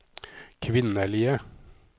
kvinnelige